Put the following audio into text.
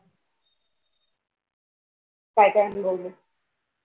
काय काय अनुभवले?